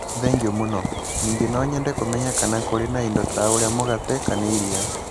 Thengio mũno. Ningĩ no nyende kũmenya kana kũrĩ na indo ta ũrĩa mũgate kana iria?